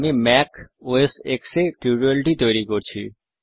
আমি Mac OS X এ tutorial টি তৈরি করছি